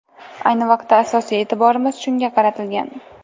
Ayni vaqtda asosiy e’tiborimiz shunga qaratilgan.